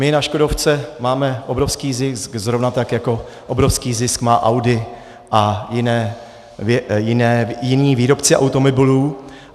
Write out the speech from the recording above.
My na škodovce máme obrovský zisk, zrovna tak jako obrovský zisk má Audi a jiní výrobci automobilů.